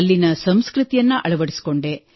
ಅಲ್ಲಿನ ಸಂಸ್ಕೃತಿಯನ್ನು ಅಳವಡಿಸಿಕೊಂಡೆ